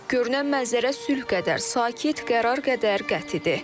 Görünən mənzərə sülh qədər sakit, qərar qədər qətidir.